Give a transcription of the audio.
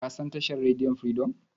Ka san tashar rediyon Firidom?